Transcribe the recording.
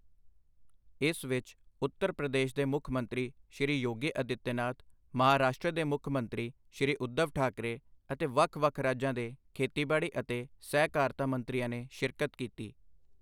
ਇਸ ਵਿੱਚ ਉੱਤਰ ਪ੍ਰਦੇਸ਼ ਦੇ ਮੁੱਖ ਮੰਤਰੀ ਸ੍ਰੀ ਯੋਗੀ ਆਦਿੱਤਯ ਨਾਥ, ਮਹਾਰਾਸ਼ਟਰ ਦੇ ਮੁੱਖ ਮੰਤਰੀ ਸ੍ਰੀ ਊਧਵ ਠਾਕਰੇ ਅਤੇ ਵੱਖ-ਵੱਖ ਰਾਜਾਂ ਦੇ ਖੇਤੀਬਾੜੀ ਅਤੇ ਸਹਿਕਾਰਤਾ ਮੰਤਰੀਆਂ ਨੇ ਸ਼ਿਰਕਤ ਕੀਤੀ।